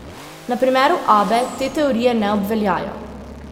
Na primeru Abbe te teorije ne obveljajo.